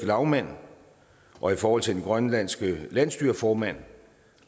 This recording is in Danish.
lagmand og i forhold til den grønlandske landsstyreformand